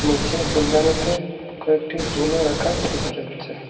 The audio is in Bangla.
নিচে ফুলদানিতে কয়েকটি ফুল ও রাখা দেখা যাচ্ছে।